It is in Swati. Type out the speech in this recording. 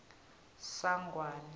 sangwane